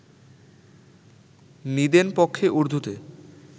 নিদেন পক্ষে উর্দুতে